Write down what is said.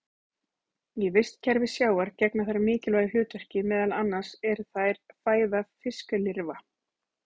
Í vistkerfi sjávar gegna þær mikilvægu hlutverki, meðal annars eru þær fæða fiskilirfa.